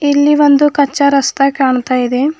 ಇಲ್ಲಿ ಒಂದು ಕಚ್ಚಾ ರಸ್ತ ಕಾಣ್ತಾ ಇದೆ.